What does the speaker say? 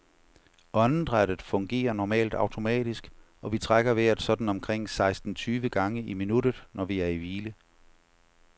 Åndedrættet fungerer normalt automatisk, og vi trækker vejret sådan omkring seksten tyve gange i minuttet, når vi er i hvile.